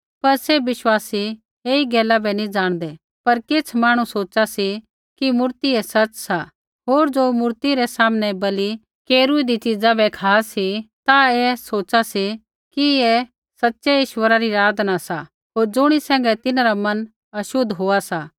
पर सैभ विश्वासी ऐई गैला बै नी ज़ाणदै पर किछ़ मांहणु सोचा सी कि मूर्ति ही सच़ सा होर ज़ो मूर्ति रै सामनै बलि केरूईदी च़ीजा बै खा सी ता ते ऐ सोचा सी कि ऐ सच़ै ईश्वरा री आराधना सा होर ज़ुणी सैंघै तिन्हरा मन अशुद्ध होआ सा